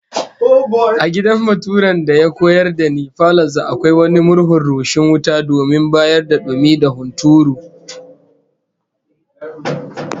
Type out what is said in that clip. A gidan baturen da ya koyar da ni, falon sa akwai wani murhun rushing wuta domin bayar da dumi da hunturu